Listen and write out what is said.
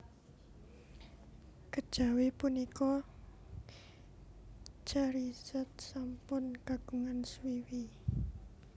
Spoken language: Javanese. Kejawi punika Charizard sampun kagungan swiwi